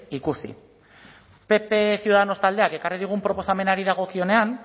ikusi pp ciudadanos taldeak ekarri digun proposamenari dagokionean